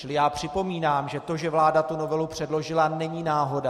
Čili já připomínám, že to, že vláda tu novelu předložila, není náhoda.